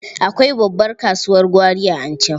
Akwai babbar kasuwar gwari a Anchau.